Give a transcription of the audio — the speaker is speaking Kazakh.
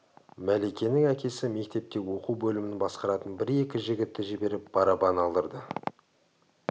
мәликенің әкесі мектепте оқу бөлімін басқаратын бір-екі жігітті жіберіп барабан алдырды